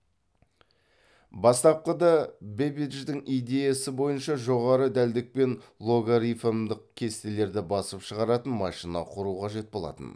бастапқыда бэббидждің идеясы бойынша жоғары дәлдікпен логарифмдік кестелерді басып шығаратын машина құру қажет болатын